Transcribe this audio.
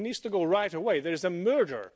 He needs to go right away. There is a murder.